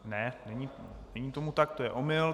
Ne, není tomu tak, to je omyl.